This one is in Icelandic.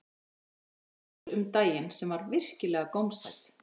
Bakaði pizzu um daginn sem var virkilega gómsæt